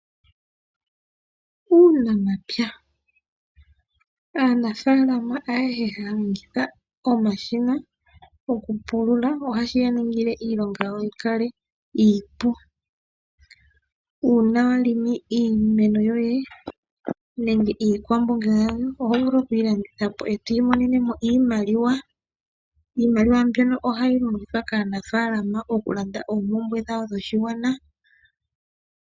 Uunamapya. Aanafaalama ayehe haya longitha omashina goku pulula. Ohashi yaningile woo iilonga yikale iipu . Uuna wongo iimeno yoye nenge iikwamboga yoye ohovulu oku yilandithapo eto imonenemo iimaliwa. Iimaliwa mbyono ohayi longithwa kaanafaalama okulanda oompumbwe dhawo dhoshigwana.